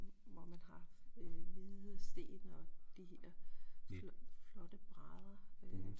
Hvor man har hvide sten og de her flotte brædder